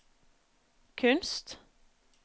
kunst